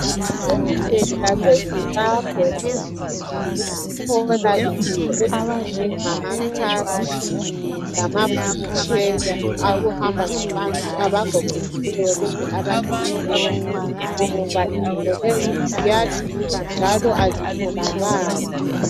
Elizweni laseZimbabwe kunzima ukuthola izinto ezinjengama crutch lamawheelchair awokuhamba ngabantu abagogekileyo kumbe abalimeleyo ngoba izinto lezi ziyadula njalo azitholakali.